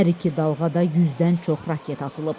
Hər iki dalğada 100-dən çox raket atılıb.